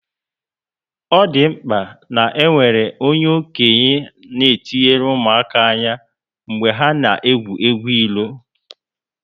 O dị mkpa ná enwere onye okenye na etinyere ụmụaka ányá mgbe ha na egwu egwu ilo